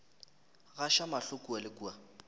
gaša mahlo kua le kua